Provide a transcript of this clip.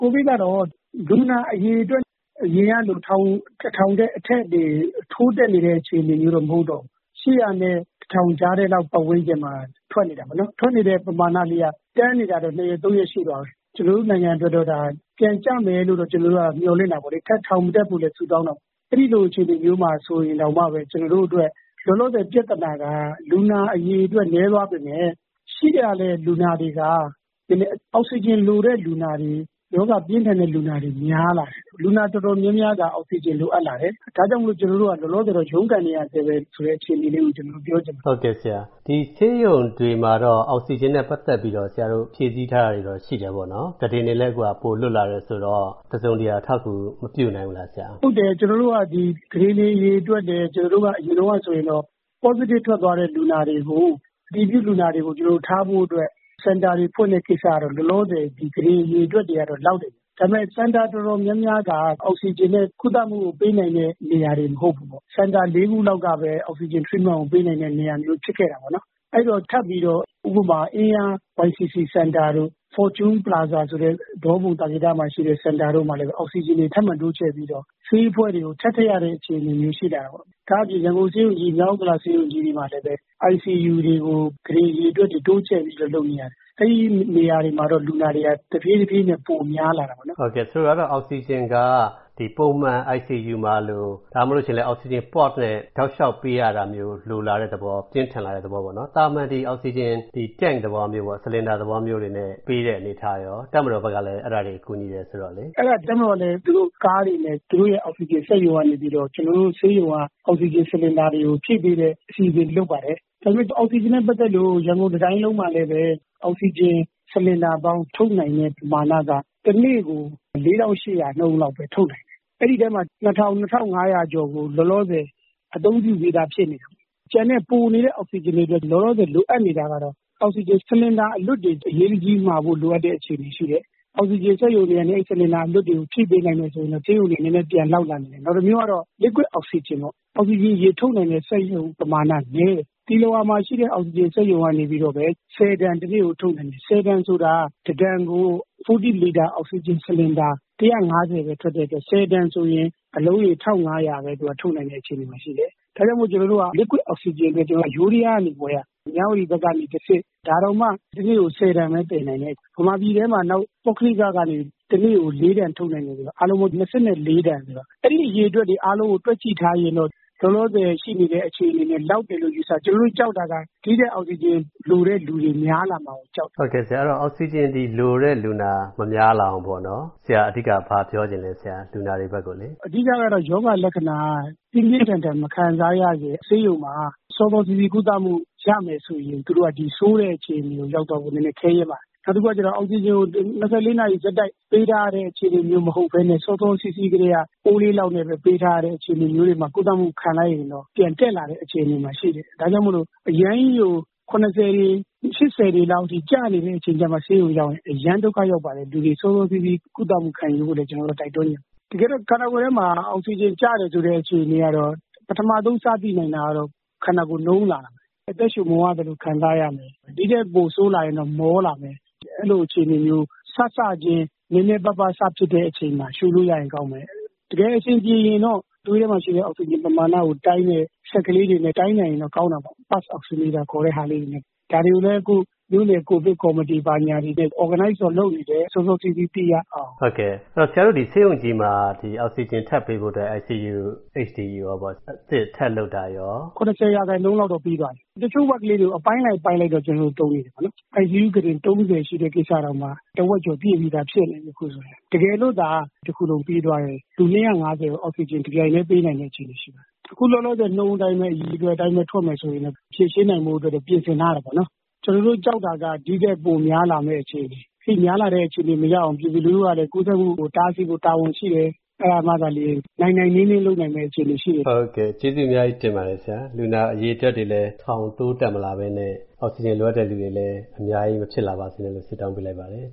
ကိုဗစ်ကတော့ လူနာအရေအတွက် အရင်ကလို တစ်ထောင်ထက် အထက်တွေ ထိုးတက်နေတဲ့ အခြေအနေမျိုးတွေတော့ မဟုတ်တော့ဘူး။ ၈၀၀ နဲ့ ၁၀၀၀ ကြားထဲလောက် ပတ်ဝန်းကျင်မှာ ထွက်နေတာပေါ့နော်။ ထွက်နေတဲ့ ပမာဏလေးက တန်းနေတာတော့ ၂ ရက်၊ ၃ ရက်ရှိသွားပြီ။ ကျွန်တော်တို့ နိုင်ငံအတွက်တော့ ဒါ ပြန်ကျမယ်လို့တော့ ကျွန်တော်တို့ကတော့ မျှော်လင့်တာပေါ့လေ။ ထပ်ထောင်မတက်ဖို့လည်း ဆုတောင်းတာပေါ့။ အဲ့ဒိလိုအခြေအနေမျိုးမှာ ဆိုရင်တောင်မှပဲ၊ ကျွန်တော်တို့အတွက် လောလောဆယ်ပြဿနာက၊ လူနာအရေအတွက် နည်းသွားပေမဲ့၊ ရှိလာတဲ့လူနာတွေက နည်းနည်း အောက်ဆီဂျင်လိုတဲ့ လူနာတွေ၊ ရောဂါပြင်းထန်တဲ့လူနာတွေ များလာတယ်။ လူနာတော်တော်များများက အောက်ဆီဂျင် လိုအပ်လာတယ်။ ဒါကြောင့်မိုလို့ ကျွန်တော်တို့က ရုန်းကန်နေရဆဲပဲဆိုတဲ့ အခြေအနေလေးကို ကျွန်တော် ပြောချင်ပါတယ်။ ဒီဆေးရုံတွေမှာတော့ အောက်ဆီဂျင်နဲ့ပတ်သက်ပြီးတော့ ဆရာတို့ ဖြည့်ဆည်းထားတာတွေတော့ ရှိတယ်ပေါ့နော်။ ဒီကုတင်တွေလည်း ပိုလွတ်လာတယ်ဆိုတော့ တစုံတရာအထောက်အကူ မပြုနိုင်ဘူးလားဆရာ။ ဟုတ်တယ် ကျွန်တော်တို့က ဒီကုတင်တွေအရေအတွက်နဲ့ ကျွန်တော်တို့က အရင်တုံးက ဆိုရင်တော့ Positive ထွက်သွားတဲ့ လူနာတွေကို၊ အတည်ပြုလူနာတွေကို ကျွန်တော်တို့ ထားဖို့အတွက် စင်တာတွေဖွင့်တဲ့ကိစ္စကတော့၊ လောလောဆယ် ဒီ ကုတင်အရေအတွက်တွေ ကတော့ လောက်တယ်။ ဒါပေမဲ့ စင်တာတော်တော်များများက အောက်ဆီဂျင်နဲ့ ကုသမူကို ပေးနိုင်တဲ့နေရာတွေ မဟုတ်ဘူးပေါ့။ စင်တာ ၄ ခုလောက်ကပဲ အောက်ဆီဂျင် Treatment ကိုပေးနိုင်တဲ့ နေရာမျိုး ဖြစ်ခဲ့တာပေါ့နော်။ အဲ့ဒီတော့၊ ထပ်ပြီးတော့ ဥပမာ အင်းယား YCC စင်တာတို့၊ Fortune Plaza ဆိုတဲ့ ဒေါပုံ၊ သာကေတမှာရှိတဲ့ စင်တာတို့မှာ လည်းပဲ၊ အောက်ဆီဂျင်တွေ ထပ်မံတိုးချဲ.ပြီးတော့၊ ဆေးအဖွဲ့တွေကို ထပ်ထည့်ရတဲ့ အခြေအနေမျိုး ရှိလာတာပေါ့။ ဒါ့အပြင် ရန်ကုန်ဆေးရုံကြီး၊ မြောက်ဥက္ကလာဆေးရုံကြီးတွေမှာလည်းပဲ၊ ICU တွေကို ကုတင်အရေအတွက်တွေ တိုးချဲ.ပြီးတော့ လုပ်နေရတယ်။ အဲ့ဒီနေရာတွေမှာတော့၊ လူနာတွေက တဖြည်းတဖြည်းနဲ့ ပိုများလာနေတာပေါ့နော်။ ဆိုလိုတာကတော့ အောက်ဆီဂျင်က ပုံမှန် ICU မှာလို၊ အောက်ဆီဂျင် Port နဲ့ တောက်လျှောက်ပေးရတာမျိုးလိုလာတဲ့သဘော၊ ပြင်းထန်လာတဲ့ သဘောပေါ့နော်။ သာမန် ဒီအောက်ဆီဂျင်၊ ဒီ Tent သဘောမျိုး၊ ဆလင်ဒါသဘောမျိုးတွေနဲ့ ပေးတဲ့အနေအထားရော၊ တပ်မတော်ဘက်ကလည်း အဲ့ဒါတွေ ကူညီတယ်ဆိုတော့လေ။ အဲ့ဒါတပ်မတော်လည်း သူတို့ကားတွေနဲ့၊ သူတို့ရဲ့အောက်ဆီဂျင်စက်ရုံက၊ ကျွန်တော်တို့ ဆေးရုံက အောက်ဆီဂျင်ဆလင်ဒါတွေကို ဖြည့်ပေးတဲ့ အစီအစဉ်တွေ လုပ်ပါတယ်။ ဒါပေမဲ့ အောက်ဆီဂျင်နဲ့ပတ်သက်လို့ ရန်ကုန် တစ်တိုင်းလုံးမှာလည်းပဲ၊ အောက်ဆီဂျင် ဆလင်ဒါပေါင်း ထုတ်နိုင်တဲ့ပမာဏက၊ တစ်နေ့ကို ၄၈၀၀ နှုန်းလောက်ပဲ ထုတ်နိုင်တယ်။ အဲ့ဒီအထဲမှာ ၂၀၀၀၊ ၂၅၀၀ ကျော်ကို လောလောဆယ် အသုံးပြုပြီးသား ဖြစ်နေတယ်။ ကျန်တဲ့ ပိုနေတဲ့အောက်ဆီဂျင်တွေအတွက် လောလာဆယ်လိုအပ်နေတာကတော့ အောက်ဆီဂျင်ဆလင်ဒါအလွတ်တွေ အရေးတကြီးမှာဖို့ လိုအပ်တဲ့ အခြေအနေရှိတယ်။ အောက်ဆီဂျင်စက်ရုံတွေကနေ အဲ့ဒီ အလွတ်တွေကို ဖြည့်ပေးနိုင်မယ်ဆိုရင်တော့ ဆေးရုံတွေ နည်းနည်းပြန်လောက်လာနိုင်တယ်။ နောက်တစ်မျိုးကတော့ Liquid အောက်ဆီဂျင်ပေါ့။ အောက်ဆီဂျင်အရည် ထုတ်နိုင်တဲ့ စက်ရုံပမာဏက နည်းတယ်။ သီလဝါမှာရှိတဲ့ အောက်ဆီဂျင်စက်ရုံကနေပြီးတော့ပဲ၊ ၁၀ တန် တစ်နေ့ကို ထုတ်နိုင်တယ်။ ၁၀ တန်ဆိုတာ၊ တစ်တန်ကို ၄၀ လီတာ အောက်ဆီဂျင်ဆလင်ဒါ ၁၅၀ ပဲ ထွက်နိုင်တဲ့အတွက်၊ ၁၀ တန်ဆိုရင် အလုံးရေ ၁၅၀၀ ပဲ ထုတ်နိုင်တဲ့ အခြေအနေမှာပဲရှိတယ်။ ဒါကြောင့်မို့ Liquid အောက်ဆီဂျင်အတွက် ကျွန်တော်တို့က ယိုးဒယား ကနေ ဝယ်ရတယ်၊ မြဝတီဖက်ကနေတစ်ဆင့်။ ဒါတောင်မှ တစ်နေ့ကို ၁၀ တန်ပဲ သယ်နိုင်တယ်။ မြန်မာပြည်ထဲမှာ နောက် ပုဂ္ဂလိကကနေ တစ်နေ့ကို ၄ တန်ထုတ်နိုင်သေးတယ် ဆိုတော့၊ အားလုံးပေါင်း ၂၄ တန်ဆိုတော့၊ အဲ့ဒီအရေအတွက်တွေ အားလုံးကိုတွက်ကြည့်ထားရင်တော့၊ လောလောဆယ်ရှိနေတဲ့ အခြေအနေအတွက် လောက်တယ်လို့ ယူဆတယ်။ ကျွန်တော်တို့ ကြောက်တာက ဒီထက်အောက်ဆီဂျင်လိုတဲ့လူတွေများလာမှာကို ကြောက်တယ်။ အဲ့ဒီတော့ဆရာ၊ အောက်ဆီဂျင် ဒီလိုတဲ့လူနာ မများလာအောင်ပေ့ါနော်၊ အဓိက ဘာပြောချင်လဲ၊ လူနာတွေဘက်ကိုလေ။ အဓိကကတော့ ရောဂါလက္ခဏာ ပြင်းပြင်းထန်ထန် မခံစားရခင်၊ စောစောစီးစီး ဆေးရုံမှာ ကုသမူရမယ်ဆိုရင်၊ သူတို့က ဒီဆိုးမယ့် အခြေအနေကို ရောက်သွားဖို့က နည်းနည်း ခဲယဉ်းပါတယ်။ နောက်တစ်ခုကကျတော့ အောက်ဆီဂျင်ကို ၂၄ နာရီဆက်တိုက်ပေးထားရတဲ့ အခြေအနေမျိုးမဟုတ်ဘဲနဲ့၊ စောစောစီးစီးကထဲက အိုးလေးလောက်နဲ့ပဲ ပေးထားရတဲ့ အခြေအနေမျိုးတွေမှာ ကုသမူခံလိုက်ရင်တော့၊ အောက်ဆီဂျင် ပြန်တက်လာတဲ့ အခြေအနေမှာရှိတယ်။ ဒါကြောင့်မို့လို့ အရမ်းကြီးကို ၇၀ တွေ၊ ၈၀ တွေလောက်အထိ ကျနေတဲ့ အခြေအနေမှ ဆေးရုံရောက်ရင် အရမ်းကြီးကို ဒုက္ခရောက်ပါတယ်။ လူတွေ စောစောစီးစီး ကုသမူခံယူဖို့လည်း ကျွန်တော်တို့က တိုက်တွန်းချင်ပါတယ်။ တကယ်တော့ ခန္ဓာကိုယ်ထဲမှာ အောက်ဆီဂျင်ကျတယ်ဆိုတဲ့ အခြေအနေကတော့၊ ပထမဆုံးစသိနိုင်တာကတော့ ခန္ဓာကိုယ် နုံးလာတာပဲ။ အသက်ရူမဝသလို ခံစားရမယ်။ ဒီထက်ပိုဆိုးလာရင်တော့ မောလာမယ်။ အဲ့လိုအခြေအနေမျိုး စစချင်း နည်းနည်းပါးပါး စဖြစ်တဲ့အချိန်မှာ ရူလို့ရရင် ကောင်းမယ်။ တကယ်အဆင်ပြေရင်တော့၊ သွေးထဲမှာရှိတဲ့ အောက်ဆီဂျင် ပမာဏကိုတိုင်းတဲ့ စက်ကလေးတွေနဲ့ တိုင်းနိုင်ရင်တော့ ကောင်းတာပေါ့။ Pulse Oximeter ခေါ်တဲ့ဟာလေးတွေနဲ့။ ဒါတွေကိုလည်း အခု မြို.နယ် ကိုဗစ်ကော်မတီ ဘာညာတွေနဲ့ Organize တော့လုပ်နေတယ်၊ စောစောစီးစီး သိရအောင်။ အဲ့ဒီတော့၊ ဆရာတို့ ဆေးရုံကြီးမှာ အောက်ဆီဂျင်ထပ်ပေးဖို့အတွက် ICU နဲ့ HDU ရောပေါ့ အသစ်ထပ်လုပ်တာရော။ ၇၀% လောက်တော့ ပြီးသွားပြီ။ တချို့ Ward လေးတွေကိုတော့ အပိုင်းလိုက် အပိုင်းလိုက်တော့ ကျွန်တော်တို့ သုံးနေတာပေါ့။ ICU ကုတင် ၃၀ ရှိတဲ့ကိစ္စတောင်မှ၊ တစ်ဝက်ကျော်ပြည့်ပြီးသားဖြစ်နေပြီ၊ အခုဆိုရင်။ တကယ်လို့သာ တစ်ခုလုံးပြီးသွားရင်၊ လူ ၂၅၀ ကို အောက်ဆီဂျင် တပြိုင်ထဲ ပေးနိုင်တဲ့ အခြေအနေရှိပါတယ်။ အခုလောလောဆယ်နှုန်းအတိုင်းပဲ၊ အရေအတွက်အတိုင်းပဲ ထွက်မယ်ဆိုရင်တော့ ဖြေရှင်းနိုင်ဖို့အတွက် ပြင်ဆင်ထားတယ်ပေါ့နော်။ ကျွန်တော်တို့ ကြောက်တာက ဒီထက် ပိုများလာမဲ့ အခြေအနေ။ အဲဒိများလာတဲ့ အခြေအနေမရောက်အောင် ပြည်သူလူထုကလည်း ကူးစက်မူကို တားဆီးဖို့ တာဝန်ရှိတယ်။ အဲ့ဒါမှသာလျှင် နိုင်နိုင်နင်းနင်း လုပ်နိုင်မယ့် အခြေအနေရှိတယ်။ ကျေးဇူးအများကြီးတင်ပါတယ်ဆရာ။ လူနာအရေအတွက်တွေလည်း ထောင်တိုးတက်မလာပဲနဲ့၊ အောက်ဆီဂျင်လိုအပ်တဲ့သူတွေလည်း အများကြီးမဖြစ်လာပါစေနဲ့လို့ ဆုတောင်းပေးလိုက်ပါတယ်။